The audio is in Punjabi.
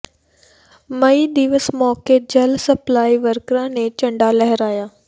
ਮਈ ਦਿਵਸ ਮੌਕੇ ਜਲ ਸਪਲਾਈ ਵਰਕਰਾਂ ਨੇ ਝੰਡਾ ਲਹਿਰਾਇਆ